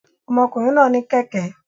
Ọmọkùnrin náà ní kẹ̀kẹ́